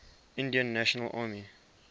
indian national army